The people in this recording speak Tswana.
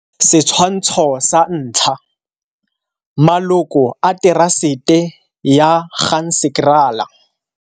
Setshwantsho sa 1 - Maloko a terasete ya Ganzekraal.